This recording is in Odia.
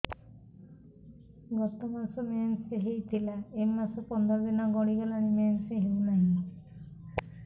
ଗତ ମାସ ମେନ୍ସ ହେଇଥିଲା ଏ ମାସ ପନ୍ଦର ଦିନ ଗଡିଗଲାଣି ମେନ୍ସ ହେଉନାହିଁ